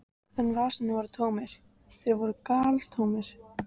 Hún starði þögul og hnípin ofan í vatnið.